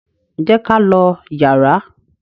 jé k'á ló yàrá.